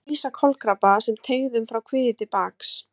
Það má lýsa kolkrabba sem teygðum frá kviði til baks.